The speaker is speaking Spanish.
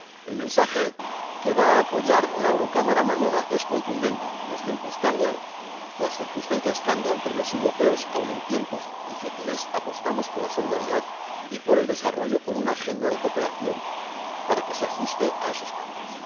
El mensaje que va a apoyar la Eurocámara mañana es contundente los tiempos cambian, las circunstancias cambian, pero los europeos, aun en tiempos difíciles, apostamos por la solidaridad y por el desarrollo, con una agenda de cooperación que se ajuste a esos cambios.